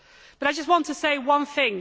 But I just want to say one thing.